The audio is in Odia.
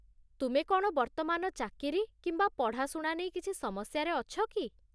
ତୁମେ କ'ଣ ବର୍ତ୍ତମାନ ଚାକିରି କିମ୍ବା ପଢ଼ାଶୁଣା ନେଇ କିଛି ସମସ୍ୟାରେ ଅଛ କି?